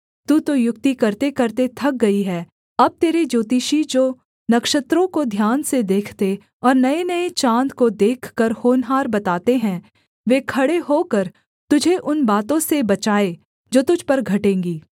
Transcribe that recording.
तू तो युक्ति करतेकरते थक गई है अब तेरे ज्योतिषी जो नक्षत्रों को ध्यान से देखते और नयेनये चाँद को देखकर होनहार बताते हैं वे खड़े होकर तुझे उन बातों से बचाएँ जो तुझ पर घटेंगी